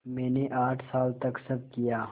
मैंने आठ साल तक सब किया